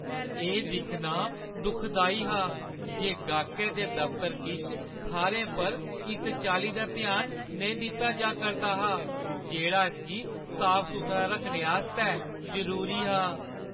एह् दिक्खना दुखदाई हा जे गाह्‌कै दे दफतर किश थाह्‌रें पर उस चाल्ली दा ध्यान नेईं दित्ता जा करदा हा जेह्ड़ा इसगी साफ-सुथरा रक्खने आस्तै जरूरी हा।